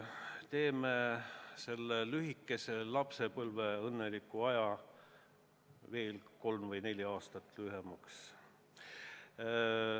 Teeme selle lühikese lapsepõlve õnneliku aja veel kolm või neli aastat lühemaks.